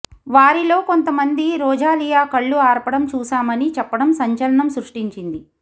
వారిలో కొంతమంది రొజాలియా కళ్లు ఆర్పడం చూశామని చెప్పడం సంచలనం సృష్టించింది